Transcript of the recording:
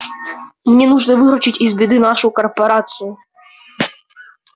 мне нужно выручить из беды нашу корпорацию